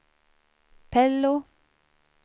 Pello